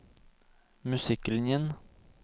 musikklinjen